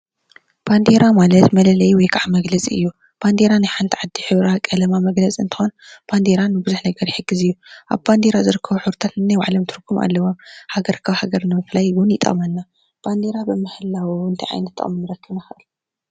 ባንዴራ ማለት መለለይ ወይ ክዓ መግለፂ እዩ፡፡ ባንዴራ ናይ ሓንቲ ዓዲ ሕብራ ቀለማ መግለፂ እንትኮን። ባንዴራ ንብዙሕ ነገር ይሕግዝ እዩ፡፡ ኣብ ባንዴራ ዝርከቡ ሕብርታት ነናይ ባዕሎም ትርጉም ኣለዎም፡፡ ሃገር ካብ ሃገር ንምፍላይ እውን ይጠቅመና፡፡ ባንዴራ ብምህላው እንታይ ዓይነት ጥቅሚ ክንረክብ ንክእል?